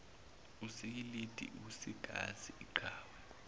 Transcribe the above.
usikilidi usigazi inqawe